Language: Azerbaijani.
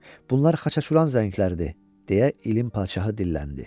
Bunlar Xaçaçuran zəngləridir, deyə ilin padşahı dilləndi.